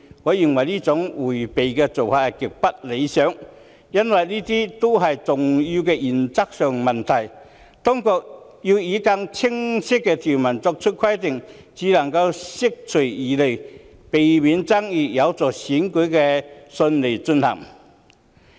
我認為這種迴避態度極不理想，因為這些都是重要的原則性問題，當局應以更清晰的條文作出規定，才能釋除疑慮，避免爭議，有助選舉順利進行。